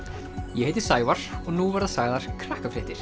ég heiti Sævar og nú verða sagðar